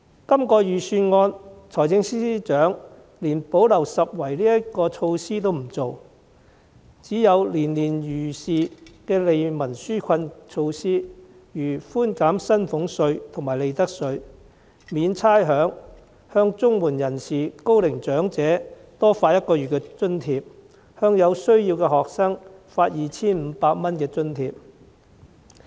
這份預算案中，財政司司長連補漏拾遺措施也沒有推出，只有年年如是的利民紓困措施，例如寬減薪俸稅和利得稅、免差餉、向綜援人士、高齡長者多發一個月津貼，向有需要的學生發放 2,500 元津貼。